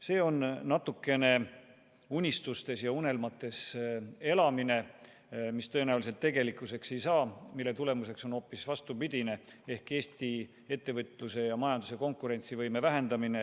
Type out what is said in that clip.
See on natukene unistustes ja unelmates elamine, mis tõenäoliselt tegelikkuseks ei saa ja mille tagajärg on hoopis vastupidine ehk Eesti ettevõtluse ja majanduse konkurentsivõime vähendamine.